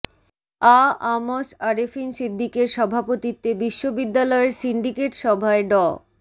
আ আ ম স আরেফিন সিদ্দিকের সভাপতিত্বে বিশ্ববিদ্যালয়ের সিন্ডিকেট সভায় ড